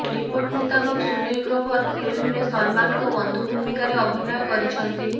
report ମୁତାବକ ସୁନୀଲ୍ ଗ୍ରୋଭର ଫିଲ୍ମରେ ସଲ୍ମାନ୍ଙ୍କ ବନ୍ଧୁ ଭୂମିକାରେ ଅଭିନୟ କରିଛନ୍ତି